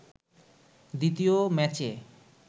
দ্বিতীয় ম্যাচে